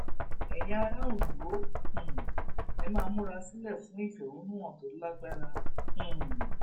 ẹyin ará ondo um ẹ máa múra sílẹ fún ìfẹhónú hàn tó lágbára um